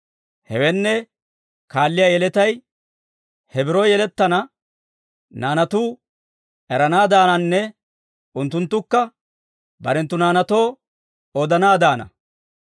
Hewenne, kaalliyaa yeletay, he biro yelettana naanatuu eranaadaananne unttunttukka barenttu naanaatoo odanaadaana.